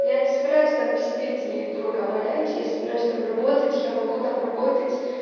я не собираюсь там сидеть и дурака валять я собираюсь там работать я могу там работать